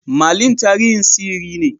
Merlin tarihin sihiri ne.